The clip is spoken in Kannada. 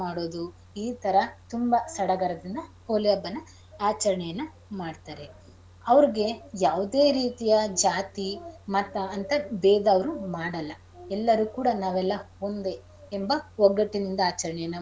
ಮಾಡೋದು ಈ ತರ ತುಂಬಾ ಸಡಗರದಿಂದ ಹೋಳಿ ಹಬ್ಬನಾ ಆಚರಣೆಯನ್ನ ಮಾಡ್ತಾರೆ ಅವ್ರಿಗೆ ಯಾವ್ದೆ ರೀತಿಯ ಜಾತಿ ಮತ ಅಂತ ಭೇದ ಅವ್ರು ಮಾಡಲ್ಲ ಎಲ್ಲರೂ ಕೂಡ ನಾವೆಲ್ಲ ಒಂದೇ ಎಂಬ ಒಗ್ಗಟ್ಟಿನಿಂದ ಆಚರಣೆಯನ್ನ.